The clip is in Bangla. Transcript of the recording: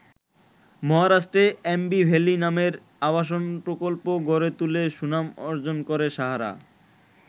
মহারাষ্ট্রে অ্যাম্বি ভ্যালি নামের আবাসন প্রকল্প গড়ে তুলে সুনাম অর্জন করে সাহারা।